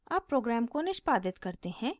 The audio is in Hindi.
अब program को निष्पादित करते हैं